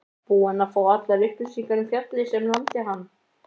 Búinn að fá allar upplýsingar um fjallið sem lamdi hann.